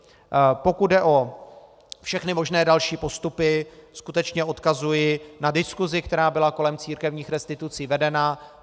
Pokud jde o všechny možné další postupy, skutečně odkazuji na diskusi, která byla kolem církevních restitucí vedena.